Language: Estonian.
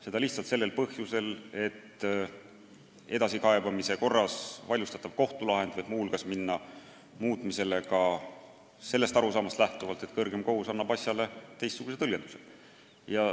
Seda lihtsalt põhjusel, et edasikaebamise korras vaidlustatav kohtulahend võib muu hulgas minna muutmisele ka sellest arusaamast lähtuvalt, et kõrgem kohus annab asjale teistsugune tõlgenduse.